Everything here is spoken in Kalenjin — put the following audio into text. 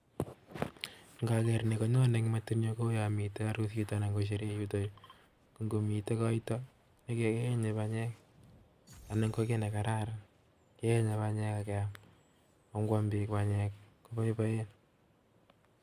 Ngoker ni konyoni metinyun ko yamiten arusit anan ko sherehe yotoyu , ngo miten koito keyenye banyek anan ko ki nekararan keyenye banyek akeyam ako ngwam biik banyek koboiboen